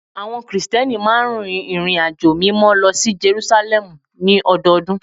Àwọn Krìsìtẹ́nì máa ń rìnrìnàjò Mímọ́ lọ sí Jerúsálẹ́mù ní ọdọọdún